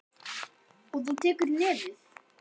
Magnús Hlynur: Og þú tekur í nefið?